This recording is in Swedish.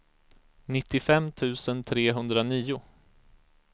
nittiofem tusen trehundranio